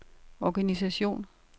organisation